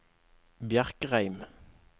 Bjerkreim